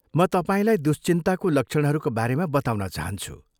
म तपाईँलाई दुश्चिन्ताको लक्षणहरूका बारेमा बताउन चाहन्छु।